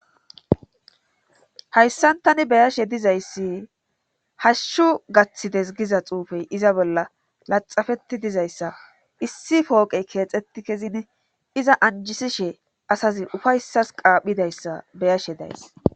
Hayssantani beyashe dizayssi hashshu gaththides giza xuufey iza bolla laxafeti dizayssa issi pooqey keexetti kezin iza anjisishe asazi ufayssas qaaphidayssa beyashe days.